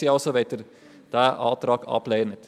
Danke also, wenn Sie diesen Antrag ablehnen.